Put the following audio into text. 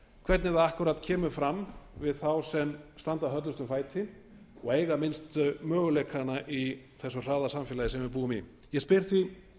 hvernig það akkúrat kemur fram við þá sem standa höllustum fæti og eiga minnsta möguleikana í þessu hraða samfélagi sem við búum í ég spyr því